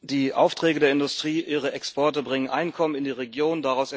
Die Aufträge der Industrie und ihre Exporte bringen Einkommen in die Region.